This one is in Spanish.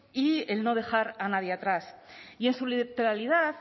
y el no dejar a nadie atrás y en su literalidad